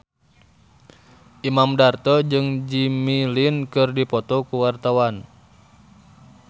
Imam Darto jeung Jimmy Lin keur dipoto ku wartawan